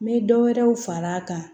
N bɛ dɔ wɛrɛw far'a kan